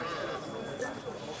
O tərəfdir.